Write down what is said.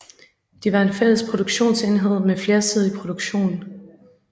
De var en fælles produktionsenhed med flersidig produktion